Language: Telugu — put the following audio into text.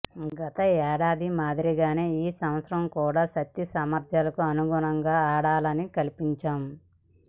గత ఏడాది మాదిరిగానే ఈ సంవత్సరం కూడా శక్తిసామర్థ్యాలకు అనుగుణంగా ఆడాలని సంకల్పించాం